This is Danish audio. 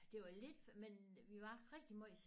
Det var lidt men vi var rigtig meget